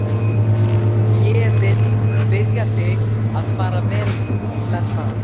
Ég vil biðja þig að fara vel með það.